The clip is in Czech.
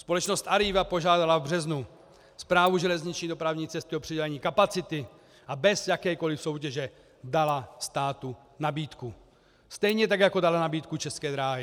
Společnost Arriva požádala v březnu Správu železniční dopravní cesty o přidělení kapacity a bez jakékoliv soutěže dala státu nabídku, stejně tak jako daly nabídku České dráhy.